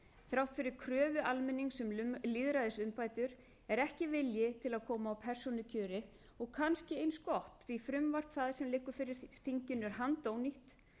þrátt fyrir kröfu almennings um lýðræðisumbætur er ekki vilji til að koma á persónukjöri og kannski eins gott því að það frumvarp sem fyrir þinginu liggur er handónýtt